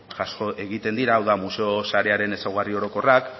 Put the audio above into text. jaso egiten dira hau da museo sarearen ezaugarri orokorrak